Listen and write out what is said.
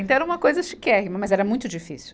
Então era uma coisa chiquérrima, mas era muito difícil.